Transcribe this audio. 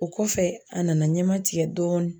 O kɔfɛ a nana ɲɛma tigɛ dɔɔnin